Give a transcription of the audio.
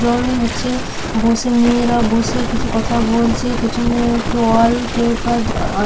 জন হচ্ছে বসে মেয়েরা বসে কিছু কথা বলছে পেছনে একটি ওয়াল পেপার দা আ--